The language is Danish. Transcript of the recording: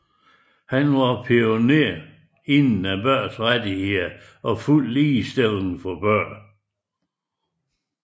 Han var pioner inden for børns rettigheder og fuld ligestilling for børn